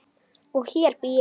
Og hér bý ég!